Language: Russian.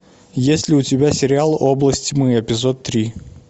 есть ли у тебя сериал область тьмы эпизод три